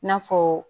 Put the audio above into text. I n'a fɔ